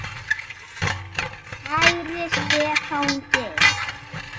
Kæri Stefán Geir.